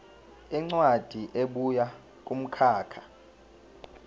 incwadi ebuya kumkhakha